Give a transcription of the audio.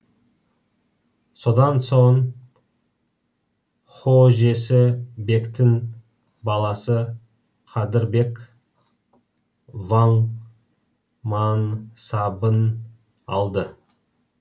содан соң хожесі бектің баласы қадыр бек ваң мансабын алды